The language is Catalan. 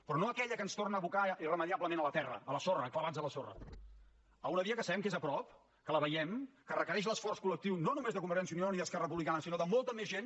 però no a aquella que ens torna a abocar irremeiablement a la terra a la sorra clavats a la sorra a una via que sabem que és a prop que la veiem que requereix l’esforç col·lectiu no només de convergència i unió i d’esquerra republicana sinó de molta més gent